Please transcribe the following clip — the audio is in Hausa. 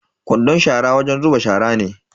Kwandon shara wajen zuba shara ne.